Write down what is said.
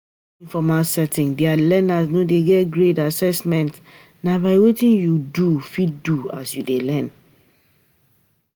For informal setting, di learner no dey get grade, assement na by wetin you don fit do as you dey learn